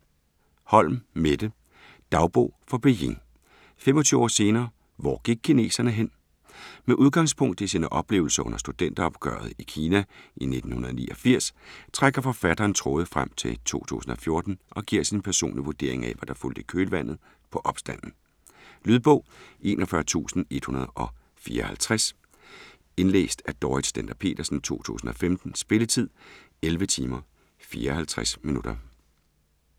Holm, Mette: Dagbog fra Beijing - 25 år senere, hvor gik kineserne hen? Med udgangspunkt i sine oplevelser under studenteropgøret i Kina i 1989, trækker forfatteren tråde frem til 2014 og giver sin personlige vurdering af hvad der fulgte i kølvandet på opstanden. Lydbog 41154 Indlæst af Dorrit Stender-Petersen, 2015. Spilletid: 11 timer, 54 minutter.